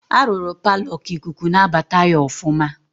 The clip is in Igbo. A rụrụ paalọ ka ikuku na-abata ya ọfụma.